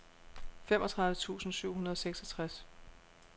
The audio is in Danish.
femogtredive tusind syv hundrede og seksogtres